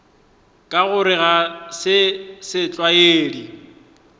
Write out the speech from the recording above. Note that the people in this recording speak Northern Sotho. ka gore ga se setlwaedi